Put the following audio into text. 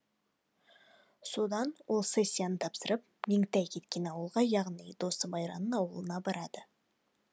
содан ол сессиясын тапсырып меңтай кеткен ауылға яғни досы майраның ауылына барады